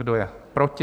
Kdo je proti?